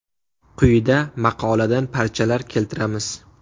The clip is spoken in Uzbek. Quyida maqoladan parchalar keltiramiz.